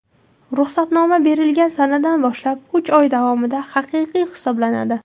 Ruxsatnoma berilgan sanadan boshlab uch oy davomida haqiqiy hisoblanadi.